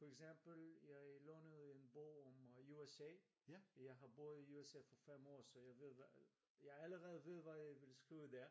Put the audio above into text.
For eksempel jeg lånede en bog om USA jeg har boet i USA for 5 år så jeg ved jeg allerede ved hvad jeg vil skrive der